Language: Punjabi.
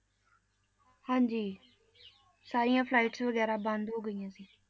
ਹਾਂਜੀ ਸਾਰੀਆਂ flights ਵਗ਼ੈਰਾ ਬੰਦ ਹੋ ਗਈਆਂ ਸੀ।